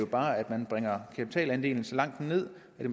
bare at man bringer kapitalandelen så langt ned at